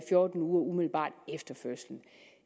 fjorten uger umiddelbart efter fødslen